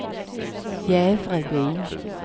Jävrebyn